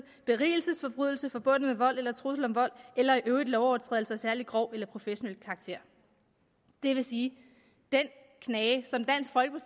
berigelsesforbrydelse forbundet med vold eller trussel om vold eller i øvrigt lovovertrædelser af særlig grov eller professionel karakter det vil sige at